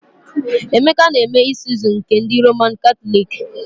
Emeka na-eme Isuzu nke ndị Roman Katọliki